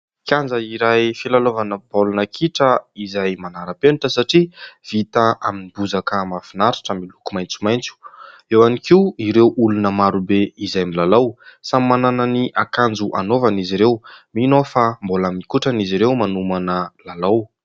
Kianja iray filalaovana baolina kitra, izay manara-penitra satria vita amin'ny bozaka mahafinaritra miloko maitsomaitso, eo ihany koa ireo olona marobe, izay milalao samy manana ny akanjo anaovany izy ireo ; mino aho fa mbola mikotrana izy ireo manomana lalao.